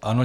Ano.